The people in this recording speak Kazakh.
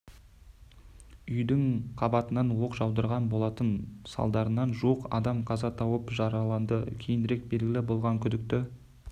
үйдің қабатынан оқ жаудырған болатын салдарынан жуық адам қаза тауып жараланды кейінірек белгілі болғаны күдікті